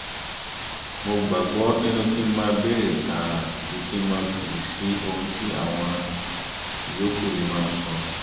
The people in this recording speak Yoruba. mo gbàgbọ́ nínú kí n máa béèrè tààrà ju kí máa fèsì sí ohun tí àwọn ìyókù lè máa sọ